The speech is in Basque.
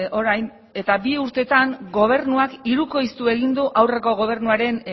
orain eta bi urtetan gobernuak hirukoiztu egin du aurreko gobernuaren